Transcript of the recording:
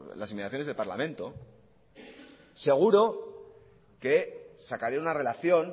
las inmediaciones del parlamento seguro que sacaría una relación